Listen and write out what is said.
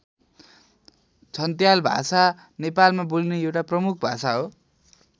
छन्त्याल भाषा नेपालमा बोलिने एउटा प्रमुख भाषा हो।